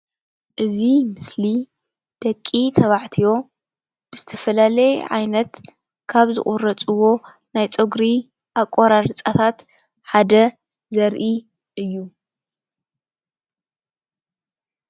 እዚ ምስሊ ደቂ ተባዕትዮ ዝተፈላላየ ዓይነት ካብ ዝቁረፅዎ ናይ ፀጉሪ ኣቆራርፃታት ሓደ ዘርኢ እዩ።